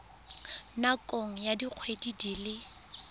nakong ya dikgwedi di le